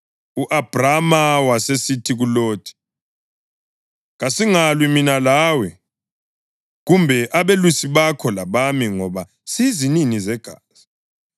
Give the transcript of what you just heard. U-Abhrama wasesithi kuLothi, “Kasingalwi mina lawe, kumbe abelusi bakho labami ngoba siyizinini zegazi.